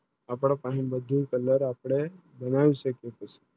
આપણા પાણી બધું Colour અપને બનાવી શકું છે